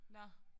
Nåh